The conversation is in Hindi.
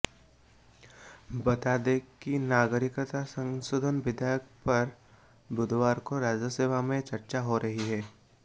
बता दें कि नागरिकता संशोधन विधेयक पर बुधवार को राज्यसभा में चर्चा हो रही है